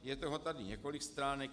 Je toho tady několik stránek.